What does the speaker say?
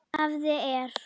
Hafið er